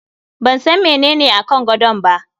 Ban san menene akan gadon ba.